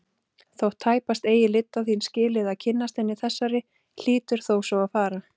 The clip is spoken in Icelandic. Þótt tæpast eigi lydda þín skilið að kynnast henni þessari hlýtur þó svo að fara.